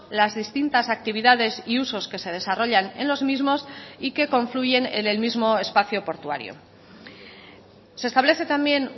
las distintas actividades y usos que se desarrollan en los mismos y que confluyen en el mismo espacio portuario se establece también